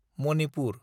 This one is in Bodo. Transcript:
मनिपुर